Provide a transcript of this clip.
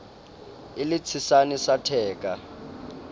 e le tshesane sa theka